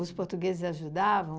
Os portugueses ajudavam?